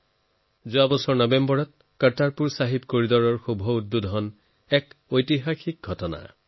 যোৱা বছৰৰ নৱেম্বৰ মাহত কাৰতাৰপুৰ চাহেব কৰিডৰ খোলাৰ ঐতিহাসিক ঘটনা হৈছিল